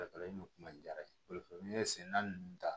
kuma in diyara n ye senna ninnu ta